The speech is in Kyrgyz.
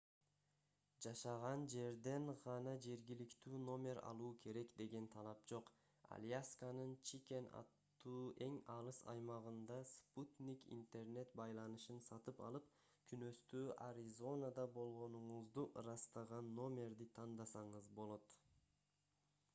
жашаган жерден гана жергиликтүү номер алуу керек деген талап жок алясканын чикен аттуу эң алыс аймагында спутник интернет байланышын сатып алып күнөстүү аризонада болгонуңузду ырастаган номерди тандасаңыз болот